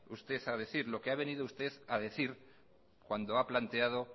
usted a decir lo que ha venido usted a decir cuando ha planteado